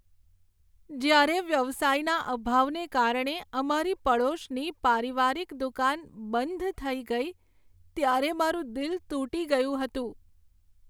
જ્યારે વ્યવસાયના અભાવને કારણે અમારી પડોશની પારિવારિક દુકાન બંધ થઈ ગઈ ત્યારે મારું દિલ તૂટી ગયું હતું.